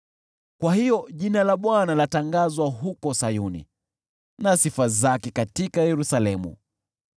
Kwa hiyo jina la Bwana latangazwa huko Sayuni na sifa zake katika Yerusalemu,